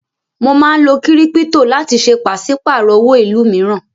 Mo máa ń lo kírípítò láti ṣe pàṣípàrò owó ìlú mìíràn.